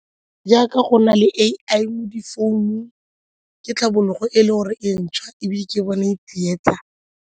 Jaaka go na le A_I mo difounung ke tlhabologo e e le gore e ntšhwa ebile ke bona e tsietsa.